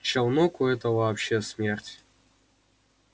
челноку это вообще смерть